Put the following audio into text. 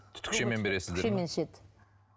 түтікшемен бересіздер ме ішеді